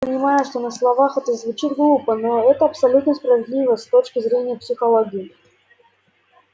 я понимаю что на словах это звучит глупо но это абсолютно справедливо с точки зрения психологии